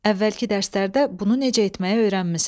Əvvəlki dərslərdə bunu necə etməyi öyrənmisən.